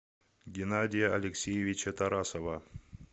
геннадия алексеевича тарасова